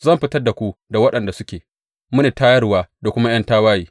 Zan fitar da waɗanda suke mini tayarwa da kuma ’yan tawaye.